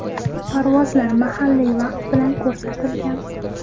Parvozlar mahalliy vaqt bilan ko‘rsatilgan.